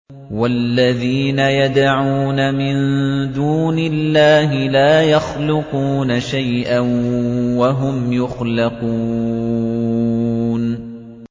وَالَّذِينَ يَدْعُونَ مِن دُونِ اللَّهِ لَا يَخْلُقُونَ شَيْئًا وَهُمْ يُخْلَقُونَ